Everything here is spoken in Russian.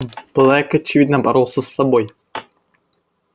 блэк очевидно боролся с собой